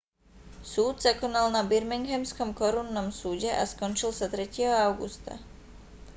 súd sa konal na birminghamskom korunnom súde a skončil sa 3. augusta